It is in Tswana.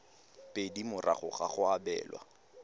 pedi morago ga go abelwa